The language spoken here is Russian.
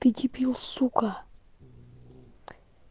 ты дебил сука